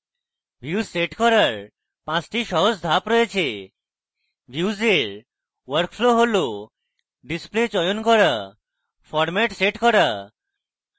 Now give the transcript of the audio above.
views set করার the সহজ ধাপ রয়েছে views we workflow হল: display চয়ন করুন format সেট করুন